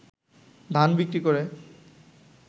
ধান বিক্রি করে